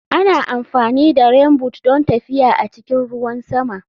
Ana amfani da Rainboot don tafiya a cikin ruwan sama.